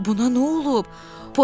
Axı buna nə olub?